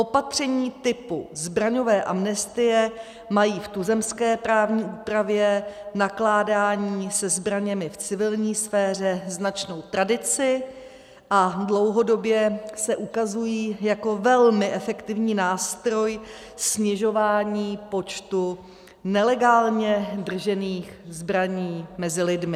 Opatření typu zbraňové amnestie mají v tuzemské právní úpravě nakládání se zbraněmi v civilní sféře značnou tradici a dlouhodobě se ukazují jako velmi efektivní nástroj snižování počtu nelegálně držených zbraní mezi lidmi.